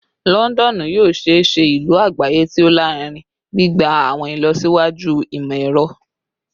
Lọndọnu yoo ṣee ṣe ilu agbaye ti o larinrin, gbigba awọn ilọsiwaju imọ-ẹrọ